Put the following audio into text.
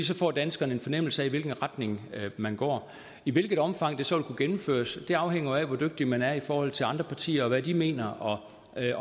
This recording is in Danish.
så får danskerne en fornemmelse af i hvilken retning man går i hvilket omfang det så gennemføres afhænger jo af hvor dygtig man er i forhold til andre partier og hvad de mener og